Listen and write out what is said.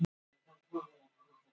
Og maðurinn sem tegund þróast áfram.